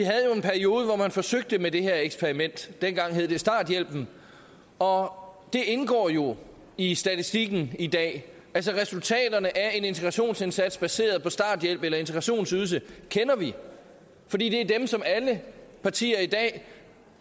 havde jo hvor man forsøgte med det her eksperiment dengang hed det starthjælpen og det indgår jo i statistikken i dag altså resultaterne af en integrationsindsats baseret på starthjælp eller integrationsydelse kender vi fordi det er dem som alle partier i dag